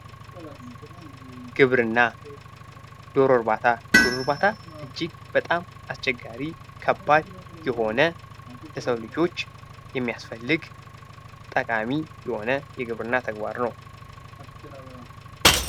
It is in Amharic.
ግብርና ዶሮ እርባታ እጅግ በጣም አስቸጋሪ ከባድ የሆነ የሰው ልጆች የሚያስፈልግ ጠቃሚ የሆነ የግብርና ተግባር ነው።